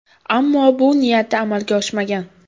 Ammo bu niyati amalga oshmagan.